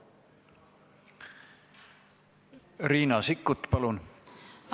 Riina Sikkut, palun!